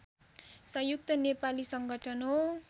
संयुक्त नेपाली संगठन हो